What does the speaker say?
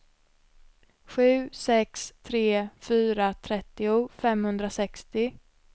sju sex tre fyra trettio femhundrasextio